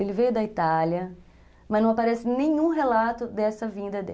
Ele veio da Itália, mas não aparece nenhum relato dessa vinda dele.